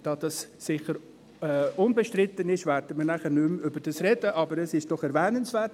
Da das sicher unbestritten ist, werden wir im Folgenden nicht mehr darüber sprechen, aber es ist trotzdem erwähnenswert.